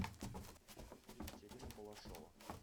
екатерина балашова